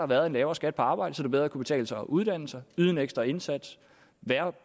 været en lavere skat på arbejde så det bedre kunne betale sig at uddanne sig yde en ekstra indsats